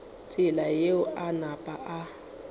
tsela yeo a napa a